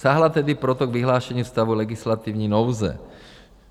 Sáhla tedy proto k vyhlášení stavu legislativní nouze.